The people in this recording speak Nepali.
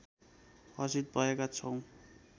हर्षित भएका छौँ